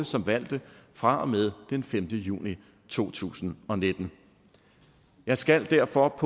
som valgte fra og med den femte juni to tusind og nitten jeg skal derfor på